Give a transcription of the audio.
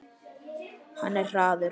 Hann er hraður.